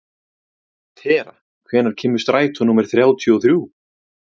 Tera, hvenær kemur strætó númer þrjátíu og þrjú?